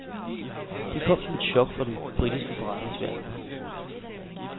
Det kom som et chok for den britiske forretningsverden.